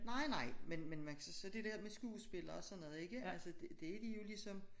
Nej nej men men man kan så sige det dér med skuespillere og sådan noget ikke altså det de jo ligesom